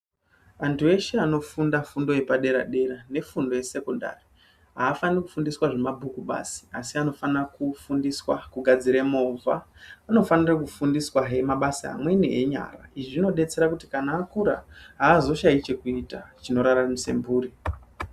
Antu eshe anofunda fundo yepadera-dera nefundo yesekondari haafaniri kufundiswa zvemabhuku basi, asi anofanira kufundiswa kugadzire movha. Anofanire kufundiswahe mabasa amweni enyara. Izvi zvinodetsera kuti kana akura haazoshayi chekuita chinoraramise mburi.